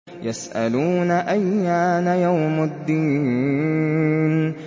يَسْأَلُونَ أَيَّانَ يَوْمُ الدِّينِ